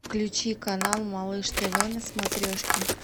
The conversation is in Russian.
включи канал малыш тв на смотрешке